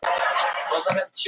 Hún var alveg í skýjunum.